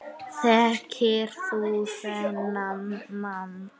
Þekkir þú þennan mann?